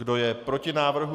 Kdo je proti návrhu?